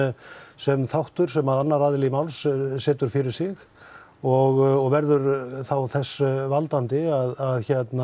sem þáttur sem annar aðili máls setur fyrir sig og verður þá þess valdandi að